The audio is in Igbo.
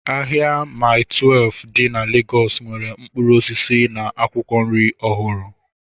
Ahịa Maii Twelfu dị na Legọs nwere mkpụrụ osisi na akwụkwọ nri ọhụrụ